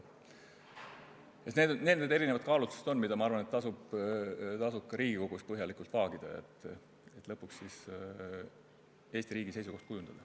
Need on need erisugused kaalutlused, mida minu arvates tasub ka Riigikogus põhjalikult vaagida, et Eesti riigi seisukoht kujundada.